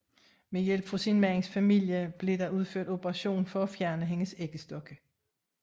Med hjælp fra sin mands familien blev der udført operation for at fjerne hendes æggestokke